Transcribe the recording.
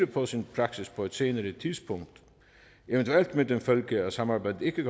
på sin praksis på et senere tidspunkt eventuelt med den følge at samarbejdet ikke